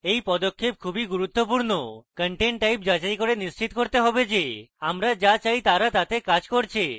এই পদক্ষেপ খুবই গুরুত্বপূর্ণ content types যাচাই করে নিশ্চিত করতে হবে যে আমরা যা চাই তারা তাতে কাজ করছে